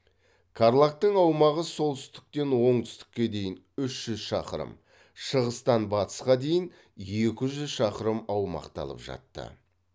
қарлагтың аумағы солтүстіктен оңтүстікке дейін үш жүз шақырым шығыстан батысқа дейін екі жүз шақырым аумақты алып жатты